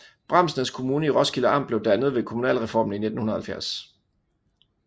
Bramsnæs Kommune i Roskilde Amt blev dannet ved kommunalreformen i 1970